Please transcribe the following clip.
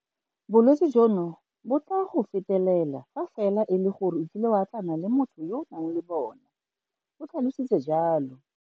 Bolwetse jono bo tla go fetela fa fela e le gore o kile wa atlana le motho yo a nang le bona, o tlhalositse jalo.